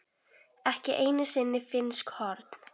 ekki einu sinni finnsk horn.